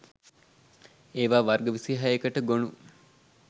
ඒවා වර්ග 26 කට ගොනු